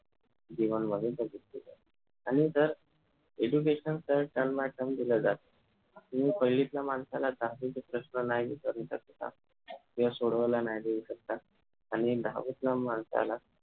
आणि जर education sir term by term दिल जात कि पहिलीतल्या माणसाला दहावीचे प्रश्न नाही विचारू शकता किंवा सोडवायला नाही देऊ शकता आणि दहावीतल्या माणसाला